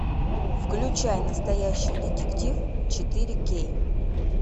включай настоящий детектив четыре кей